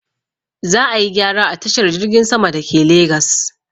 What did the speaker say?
Za ayi gyara a tashar jirgin sama dake legas